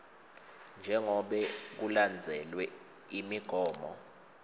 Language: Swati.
njengobe kulandzelwe imigomo